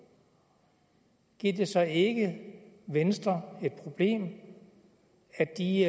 giver det så ikke venstre et problem at de